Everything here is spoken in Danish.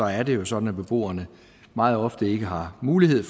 er det jo sådan at beboerne meget ofte ikke har mulighed